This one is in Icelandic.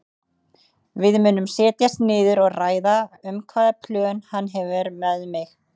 Við munum setjast niður og ræða um hvaða plön hann hefur með mig.